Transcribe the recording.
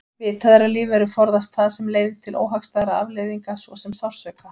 Vitað er að lífverur forðast það sem leiðir til óhagstæðra afleiðinga svo sem sársauka.